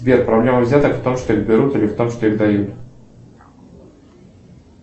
сбер проблема взяток в том что их берут или в том что их дают